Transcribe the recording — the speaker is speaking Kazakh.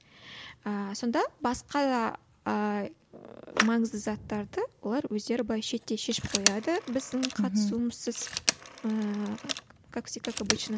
ыыы сонда басқа ыыы маңызды заттарды олар өздері былай шеттей шешіп қояды біздің қатысуымызсыз ыыы как обычно